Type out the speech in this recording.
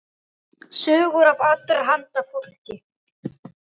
Sögur af allra handa fólki.